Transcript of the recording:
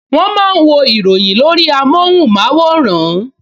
Wọ́n máa ń wo ìròyìn lórí amóhùnmáwòrán